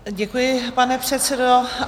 Děkuji, pane předsedo.